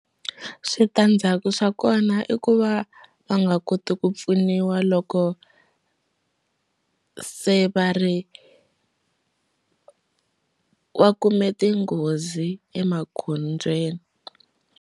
Switandzhaku swa kona i ku va va nga koti ku pfuniwa loko se va ri va kume tinghozi emagondzweni.